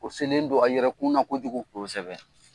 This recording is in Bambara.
O selen don a yɛrɛkun na kojugu. Kosɛbɛ.